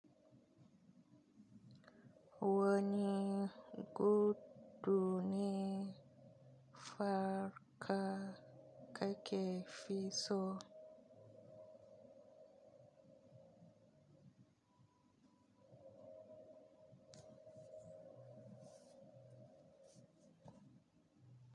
Wani gudu ne farka kake fi so?